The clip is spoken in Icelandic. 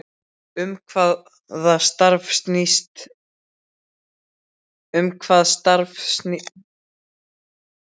Um hvað starfið snýst, á ég við